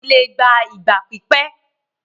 ìwádìí lé gbà ìgbà pípé